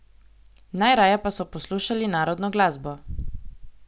Najraje pa so poslušali narodno glasbo.